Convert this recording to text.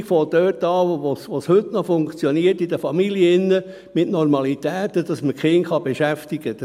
Die Entwicklung fängt dort an, wo es heute in den Familien noch funktioniert, mit Normalitäten, dass man die Kinder noch beschäftigen kann.